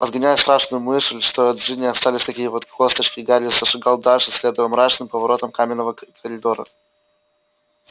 отгоняя страшную мысль что и от джинни остались такие вот косточки гарри зашагал дальше следуя мрачным поворотам каменного коридора